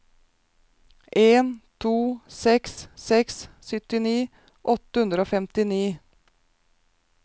en to seks seks syttini åtte hundre og femtini